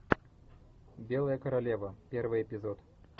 белая королева первый эпизод